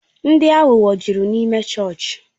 Ndị aghụghọ jụrụ n'ịme chọọchị